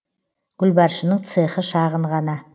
гүлбаршынның цехы шағын ғана